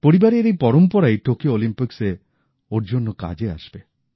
পরিবারের এই পরম্পরাই টোকিও অলিম্পিক্সে ওঁর জন্য কাজে আসবে